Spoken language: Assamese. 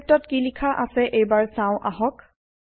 লিপিত কি লিখা আছে এইবাৰ চাও আহক